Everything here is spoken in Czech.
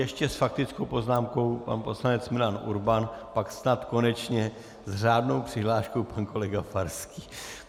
Ještě s faktickou poznámkou pan poslanec Milan Urban, pak snad konečně s řádnou přihláškou pan kolega Farský.